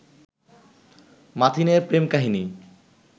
মাথিনের প্রেম-কাহিনী